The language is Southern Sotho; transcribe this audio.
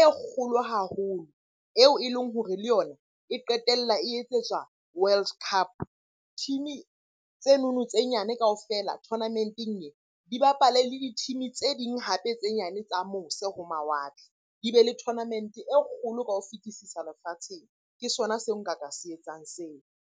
e kgolo haholo, eo e leng hore le yona e qetella e etsetswa World Cup. Team-e tsenono tse nyane kaofela tournament-eng e, di bapale le di-team-e tse ding hape tse nyane tsa mose ho mawatle. Di be le tournament-e e kgolo ka ho fetisisa lefatsheng. Ke sona seo nka ka se etsang seo.